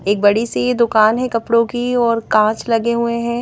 एक बड़ी सी दुकान है कपड़ों की और कांच लगे हुए हैं।